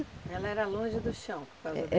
Ela era longe do chão por causa.